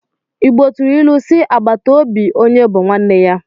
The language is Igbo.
Igbo tụrụ ilu si 'agbàtà óbị onye bú nwanne ya '